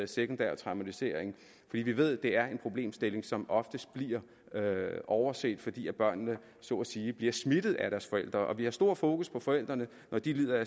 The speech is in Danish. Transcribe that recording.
sekundær traumatisering vi ved det er en problemstilling som oftest bliver overset fordi børnene så at sige bliver smittet af deres forældre vi har stor fokus på forældrene når de lider